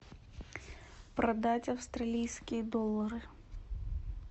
продать австралийские доллары